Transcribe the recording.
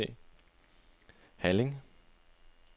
Halling